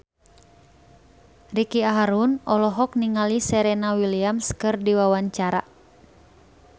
Ricky Harun olohok ningali Serena Williams keur diwawancara